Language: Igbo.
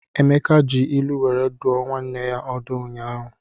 Emeka ji ilu were dụọ nwanne ya ọdụ ụnyaahụ.